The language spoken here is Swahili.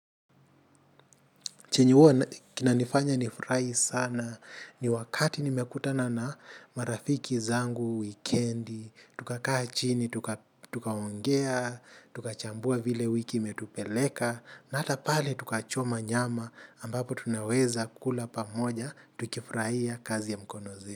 Chenye huwa kinanifanya nifurahi sana, ni wakati nimekutana na marafiki zangu, wikiendi, tukakaa chini tuka tukaongea, tukachambua vile wiki metupeleka, na hata pale tukachoma nyama ambapo tunaweza kula pamoja, tukifurahia kazi ya mkono zetu.